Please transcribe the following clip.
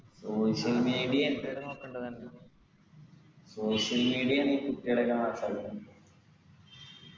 social media social media കുട്ടികളെയെല്ലം